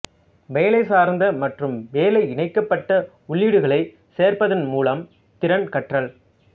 வேலை சார்ந்த மற்றும் வேலைஇணைக்கப்பட்ட உள்ளீடுகளை சேர்ப்பதன் மூலம் திறன் கற்றல்